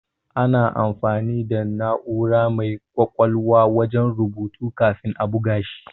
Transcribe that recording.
Ana amfani da na'ura mai ƙwaƙwalwa wajen rubutu kafin a buga shi.